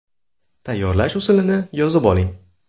Tayyorlash usulini yozib oling.